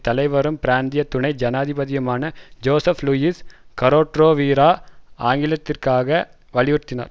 தலைவரும் பிராந்திய துணை ஜனாதிபதியுமான ஜோசப் லூயிஸ் கரோட்ரோவிரா ஆங்கிலத்திற்காக வலியுறுத்தினார்